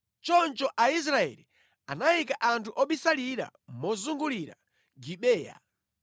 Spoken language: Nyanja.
Choncho Aisraeli anayika anthu obisalira mozungulira Gibeya.